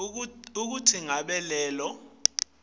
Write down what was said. kutsi ngabe lelo